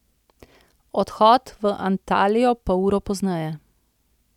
Odhod v Antalijo pa uro pozneje.